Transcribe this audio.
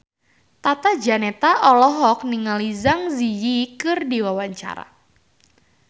Tata Janeta olohok ningali Zang Zi Yi keur diwawancara